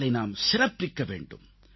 அவர்களை நாம் சிறப்பிக்க வேண்டும்